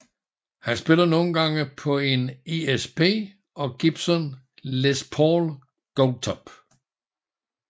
Han spiller nogle gange på en ESP og Gibson Les Paul Goldtop